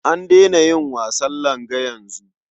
An daina yin wasan langa yanzu.